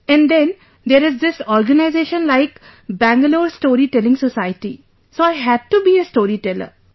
And then, there is this organization like Bangalore Storytelling Society, so I had to be a storyteller